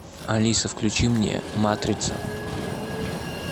алиса включи мне матрица